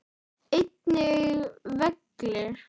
Einnig vellir.